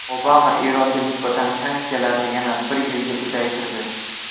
Obama Eronga nisbatan sanksiyalarni yana bir yilga uzaytirdi.